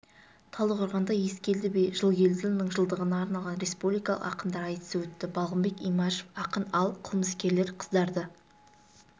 талдықорғанда ескелді би жылгелдіұлының жылдығына арналған республикалық ақындар айтысы өтті балғынбек имашев ақын ал қылмыскерлер қыздарды